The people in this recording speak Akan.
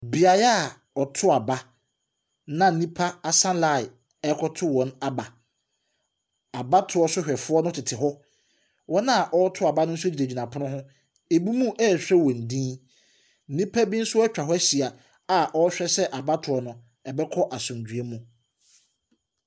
Beaeɛ a ɔtɔ aba na nnipa asa line ɛkɔto wɔn aba. Abatoɔ so hwɛfoɔ no tete hɔ. Wɔn a ɔreto aba no nso gyinegyina pono ho ebinom ɛɛhwɛ wɔn din. Nipa bi nso ɛtwa hɔ ɛhyia a ɔhwɛ sɛɛ abatoɔ no ɛbɛkɔ asomdwie mu.